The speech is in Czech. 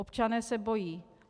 Občané se bojí.